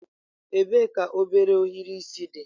Ebee ka obere ohiri isi dị?